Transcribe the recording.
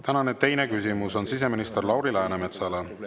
Tänane teine küsimus on siseminister Lauri Läänemetsale.